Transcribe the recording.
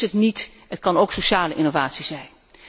Dat is het niet, het kan ook om sociale innovatie gaan.